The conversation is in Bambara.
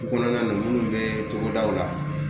Kɔnɔna na munnu bɛ togodaw la